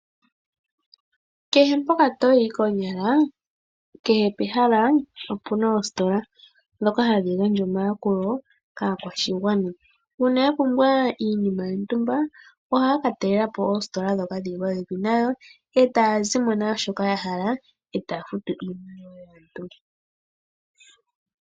Kehe mpoka toyi konyala kehe pehala opuna oositola dhoka hadhigandja omayakulo kaakwashigwana. Uuna yapumbwa iinima yontumbaa ohaakatalelapo oositola dhoka dhili popepi nayo etaazimo naashoka yahala etaafutu iinima yaantu.